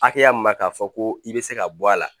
Haya mun na k'a fɔ ko i bɛ se ka bɔ a la